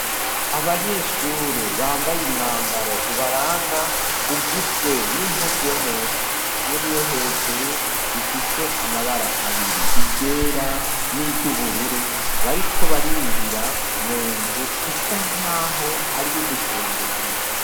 Abanyeshure bambaye umwambaro ubaranga ugizwe n'impuzu yo musi hamwe niyo hejuru bifise amabara abiri iryera niryu bururu bariko barinjira mu nzu isa nkaho ariyo gusengeramwo.